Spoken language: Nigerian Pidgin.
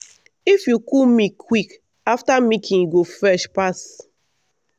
if you cool milk quick after milking e go fresh pass.